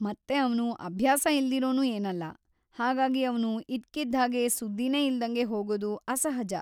ಮತ್ತೆ ಅವ್ನು ಅಭ್ಯಾಸ ಇಲ್ದಿರೋನೂ ಏನಲ್ಲ, ಹಾಗಾಗಿ ಅವ್ನು ಇದ್ಕಿದ್ಹಾಗೆ ಸುದ್ದಿನೇ ಇಲ್ದಂಗೆ ಹೋಗೋದು ಅಸಹಜ.